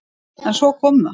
En svo kom það!